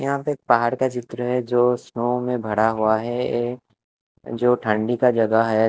यहां पे पहाड़ का चित्र है जो स्नो में भरा हुआ है ये जो ठंडी का जगह है।